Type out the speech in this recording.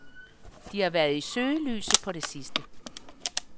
De har været i søgelyset på det sidste.